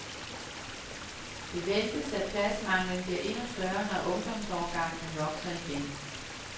Det ventes, at pladsmanglen bliver endnu større, når ungdomsårgangene vokser igen.